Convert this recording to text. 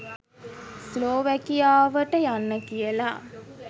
ස්ලෝවැකියාවට යන්න කියලා